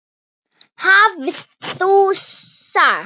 hafði hún sagt.